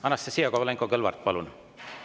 Anastassia Kovalenko-Kõlvart, palun!